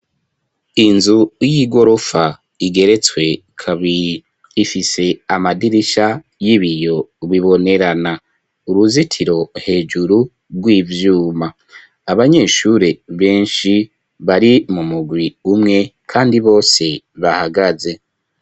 Inzu y'igorofa igeretswe kabiri ifise amadirisha y'ibiyo bibonerana uruzitiro hejuru rw'ivyuma abanyeshuri benshi bari mumurwi umwe kandi bose bahagaze.